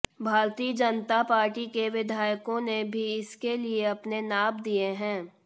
भारतीय जनता पार्टी के विधायकों ने भी इसके लिए अपने नाप दिए हैं